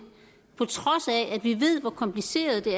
på trods af at vi ved hvor kompliceret det